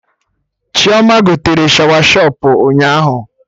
Chioma gotere Shawashọpụ ụnyaahụ